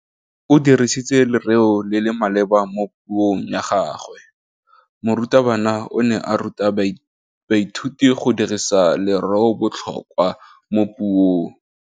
O dirisitse lerêo le le maleba mo puông ya gagwe. Morutabana o ne a ruta baithuti go dirisa lêrêôbotlhôkwa mo puong.